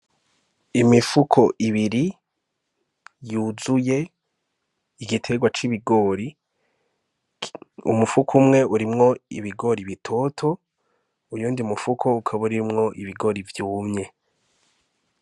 Imifuko ibiri yuzuye igiterwa c'ibigori umufuko umwe urimwo ibigori bitoto uyu ndi mufuko ukaba urimwo ibigori vyumye.